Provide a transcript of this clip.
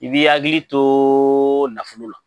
I b'i ya hakili to nafolo la